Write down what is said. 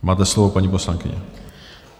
Máte slovo, paní poslankyně.